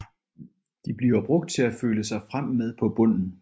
De bliver brugt til at føle sig frem med på bunden